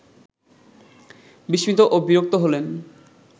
বিস্মিত ও বিরক্ত হলেন